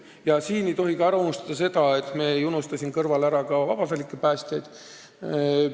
Ja me ei unusta seejuures ära ka vabatahtlikke päästjaid.